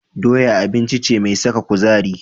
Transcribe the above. Doya abinci ce mai saka kuzari.